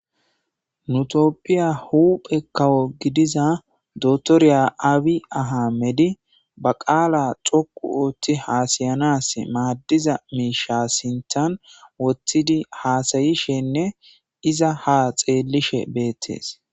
Nu topphiya huphe kawo gidiza dotoriya aawi aha medi ba qaala xoqu ootti haasayanas maaddiza miisha sintan wottidi haasayishenne iza ha xeellishe beettees.